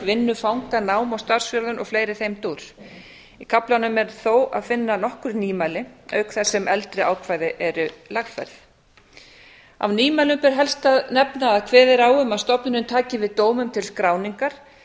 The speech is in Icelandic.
vinnu fanga nám og starfsþjálfun og fleira í þeim dúr í kafla er þó að finna nokkur nýmæli auk þess eldri ákvæði eru lagfærð af nýmælum ber helst að nefna að kveðið er á um að stofnunin taki við dómum til skráningar